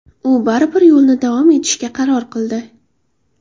U baribir yo‘lni davom etishga qaror qildi.